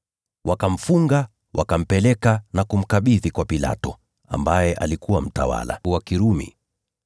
Wakamfunga, wakampeleka na kumkabidhi kwa Pilato, ambaye alikuwa mtawala wa Kirumi.